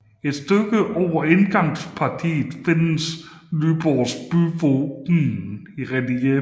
Et stykke over indgangspartiet findes Nyborg byvåben i relief